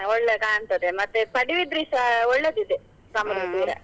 ಒಳ್ಳೆ ಕಾಂಣ್ತದೆ ಮತ್ತೆ ಪಡುಬಿದ್ರಿಸ ಒಳ್ಳೆದಿದೆ .